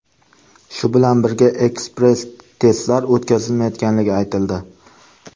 Shu bilan birga, ekspress testlar o‘tkazilmayotganligi aytildi.